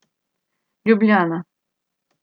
Ljubljana.